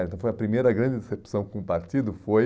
Então, foi a primeira grande decepção com o partido foi...